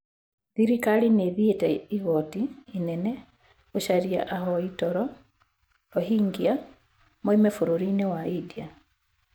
Thirikari nĩ ĩthieti igooti inene gũcaria ahoi toro Rohingya moime bũrũri-inĩ wa India.)